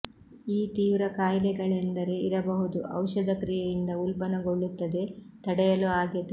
ಈ ತೀವ್ರ ಖಾಯಿಲೆಗಳೆಂದರೆ ಇರಬಹುದು ಔಷಧ ಕ್ರಿಯೆಯಿಂದ ಉಲ್ಬಣಗೊಳ್ಳುತ್ತದೆ ತಡೆಯಲು ಆಗಿದೆ